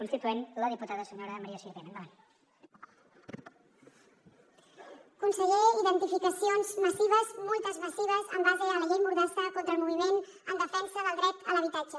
conseller identificacions massives multes massives en base a la llei mordassa contra el moviment en defensa del dret a l’habitatge